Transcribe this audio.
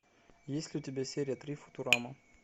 есть ли у тебя серия три футурама